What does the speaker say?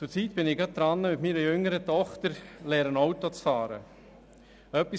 Zurzeit bin ich gerade mit meiner jüngeren Tochter dabei, ihr das Autofahren beizubringen.